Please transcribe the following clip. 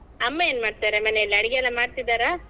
ಅಮ್ಮ ಏನ್ಮಾಡ್ತಾರೆ ಮನೆಲ್ಲಿ ಅಡಿಗೆ ಎಲ್ಲ ಮಾಡ್ತಿದ್ದಾರಾ?